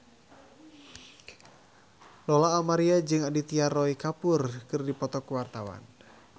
Lola Amaria jeung Aditya Roy Kapoor keur dipoto ku wartawan